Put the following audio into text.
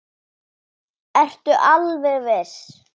Ertu alveg viss?